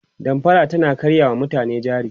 damfara tana karya wa mutane jari